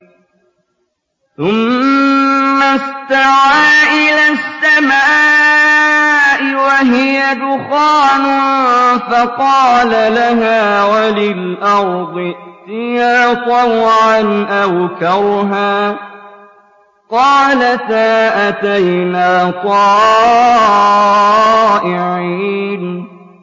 ثُمَّ اسْتَوَىٰ إِلَى السَّمَاءِ وَهِيَ دُخَانٌ فَقَالَ لَهَا وَلِلْأَرْضِ ائْتِيَا طَوْعًا أَوْ كَرْهًا قَالَتَا أَتَيْنَا طَائِعِينَ